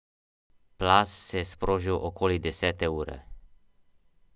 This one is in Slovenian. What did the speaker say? Nekatere pa skrbi predvsem suša.